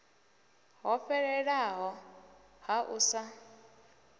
ho fhelelaho ha u sa